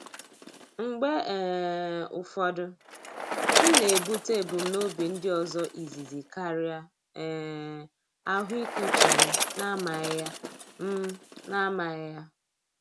Mgbe um ụfọdụ, m na-ebute ebumnobi ndị ọzọ izizi karịa um ahụike uche m na-amaghị ya. m na-amaghị ya.